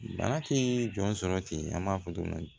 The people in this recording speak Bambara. Bana tɛ jɔn sɔrɔ ten an b'a fɔ don min na